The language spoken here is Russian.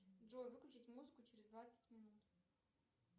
джой выключить музыку через двадцать минут